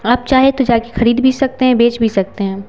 आप चाहे तो जाके खरीद भी सकते हैं बेच भी सकते हैं।